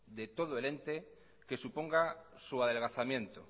de todo el ente que suponga su adelgazamiento